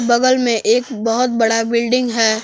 बगल में एक बहुत बड़ा बिल्डिंग है।